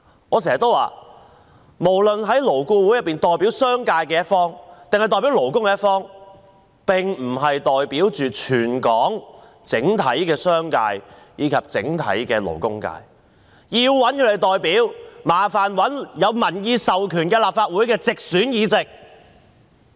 我經常說，勞顧會無論是代表商界還是勞工的一方，都不是代表全港整體商界及勞工界，他們的代表是有民意授權的立法會直選議席。